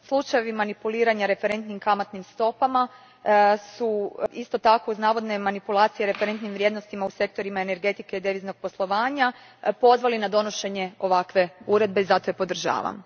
Slučajevi manipuliranja referentnim kamatnim stopama su isto tako, uz navodne manipulacije referentnim vrijednostima u sektorima energetike i deviznog poslovanja, pozvali na donošenje ovakve uredbe i zato je podržavam.